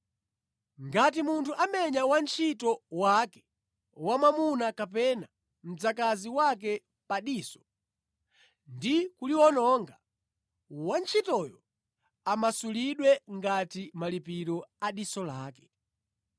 “Ngati munthu amenya wantchito wake wa mwamuna kapena mdzakazi wake pa diso ndi kuliwononga, wantchitoyo amasulidwe ngati malipiro a diso lake.